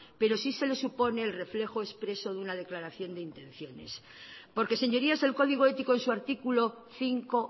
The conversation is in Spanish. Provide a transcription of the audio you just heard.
pero sí se le supone el reflejo expreso de una declaración de intenciones porque señorías el código ético en su artículo cinco